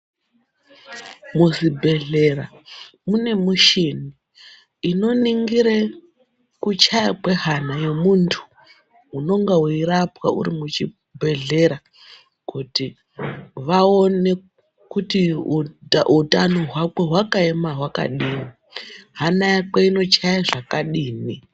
Muzvibhedhlera mune muchini inoningire kuchaya kwehana yemuntu unonga weirapwa uri muchibhedhlera, kuti vaone kuti utano hwako hwakaema hwakadini, hana yako inochaya zvakadini.